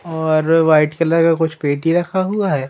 और white colour का कुछ पेटी रखा हुआ है।